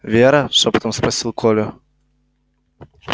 вера шёпотом спросил коля